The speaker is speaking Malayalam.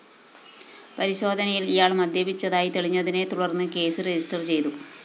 പരിശോധനയില്‍ ഇയാള്‍ മദ്യപിച്ചതായി തെളിഞ്ഞതിനെ തുടര്‍ന്ന് കേസ് രജിസ്റ്റർ ചെയ്തു